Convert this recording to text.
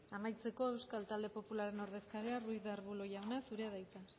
amaitzeko euskal talde popularraren ordezkaria ruiz de arbulo jauna zurea da hitza